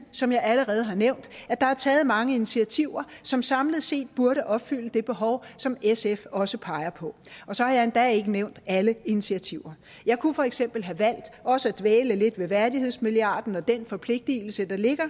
som jeg allerede har nævnt at der er taget mange initiativer som samlet set burde opfylde det behov som sf også peger på og så har jeg endda ikke nævnt alle initiativer jeg kunne for eksempel have valgt også at dvæle lidt ved værdighedsmilliarden og den forpligtelse der ligger